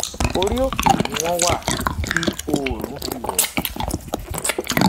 ori oke ni wọn wa ti oorun fi wọ